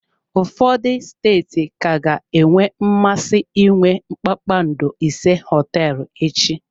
Ụfọdụ steeti ka ga-enwe mmasị inwe kpakpando ise hoteelu echi.